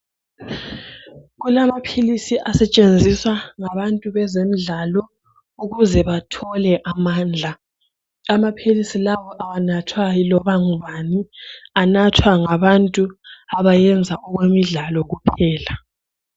Kulamaphilisi asetshenziswa ngabantu bezemidlalo ukuze bathole amandla. Amaphilisi lawa awanathwa yiloba ngubani anathwa ngabantu abayenza okwemidlalo kuphela.